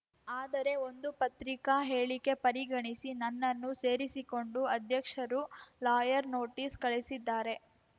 ಆದರೆ ಒಂದು ಪತ್ರಿಕಾ ಹೇಳಿಕೆ ಪರಿಗಣಿಸಿ ನನ್ನನ್ನು ಸೇರಿಸಿಕೊಂಡು ಅಧ್ಯಕ್ಷರು ಲಾಯರ್‌ ನೋಟಿಸ್‌ ಕಳಿಸಿದ್ದಾರೆ